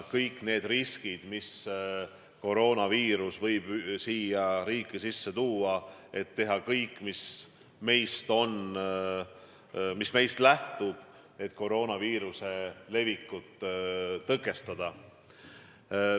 Kõik need riskid, mis koroonaviirus võib meie riigis tekitada – tuleb teha kõik, mis meist oleneb, et koroonaviiruse levikut tõkestada.